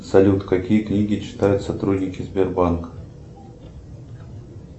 салют какие книги читают сотрудники сбербанка